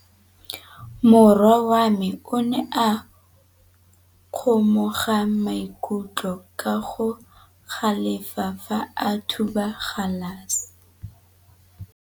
Morwa wa me o ne a kgomoga maikutlo ka go galefa fa a thuba galase.